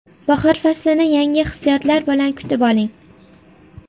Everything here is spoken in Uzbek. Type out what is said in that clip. Bahor faslini yangi hissiyotlar bilan kutib oling!